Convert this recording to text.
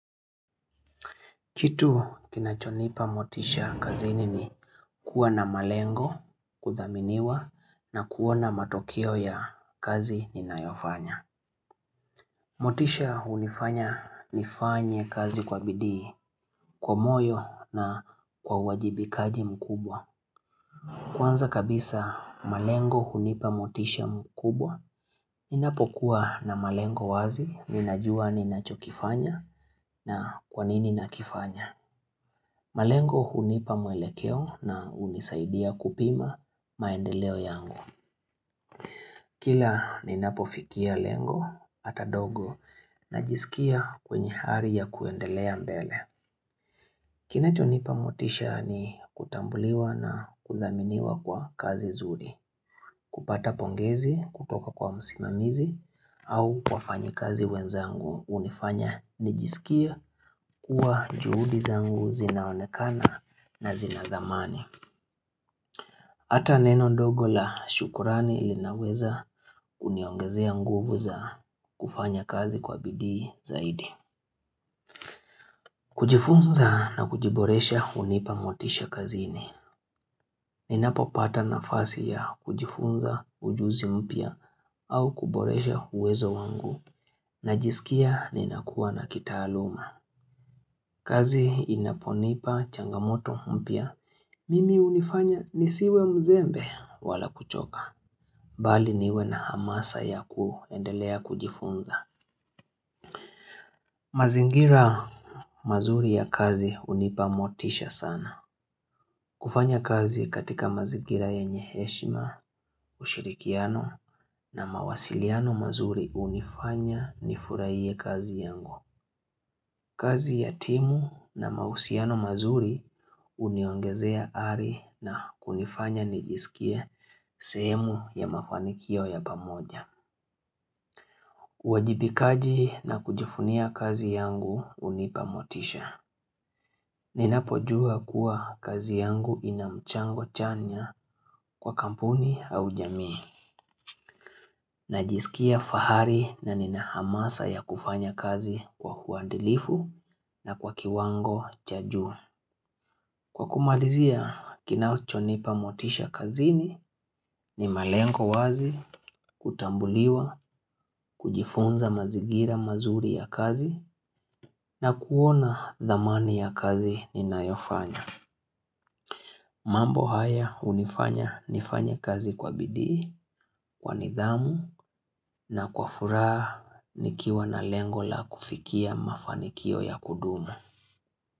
Kitu kinachonipa motisha kazini ni kuwa na malengo kudhaminiwa na kuona matokeo ya kazi ninayofanya. Motisha hunifanya nifanye kazi kwa bidii, kwa moyo na kwa uwajibikaji mkubwa. Kwanza kabisa malengo hunipa motisha mkubwa, ninapokuwa na malengo wazi ninajua ninachokifanya na kwanini nakifanya. Malengo hunipa mwelekeo na hunisaidia kupima maendeleo yangu. Kila ninapofikia lengo hata ndogo najisikia kwenye ari ya kuendelea mbele. Kinachonipa motisha ni kutambuliwa na kuthaminiwa kwa kazi nzuri. Kupata pongezi kutoka kwa msimamizi au wafanyikazi wenzangu hunifanya nijisikie kuwa juhudi zangu zinaonekana na zina thamani. Hata neno ndogo la shukrani linaweza kuniongezea nguvu za kufanya kazi kwa bidii zaidi. Kujifunza na kujiboresha hunipa motisha kazini. Ninapopata nafasi ya kujifunza ujuzi mpya au kuboresha uwezo wangu. Najisikia ninakuwa na kitaaluma. Kazi inaponipa changamoto mpya. Mimi hunifanya nisiwe mzembe wala kuchoka. Bali niwe na hamasa ya kuendelea kujifunza. Mazingira mazuri ya kazi hunipa motisha sana. Kufanya kazi katika mazingira yenye heshima, ushirikiano na mawasiliano mazuri hunifanya nifurahie kazi yangu. Kazi ya timu na mahusiano mazuri huniongezea ari na kunifanya nijisikie sehemu ya mafanikio ya pamoja. Uwajibikaji na kujivunia kazi yangu hunipamotisha Ninapo jua kuwa kazi yangu inamchango chanya kwa kampuni au jamii Najisikia fahari na nina hamasa ya kufanya kazi kwa uadilifu na kwa kiwango cha juu Kwa kumalizia kinachonipa motisha kazini ni malengo wazi kutambuliwa kujifunza mazingira mazuri ya kazi na kuona dhamani ya kazi ninayofanya mambo haya hunifanya nifanye kazi kwa bidii Kwa nidhamu na kwa furaha nikiwa na lengo la kufikia mafanikio ya kudumu.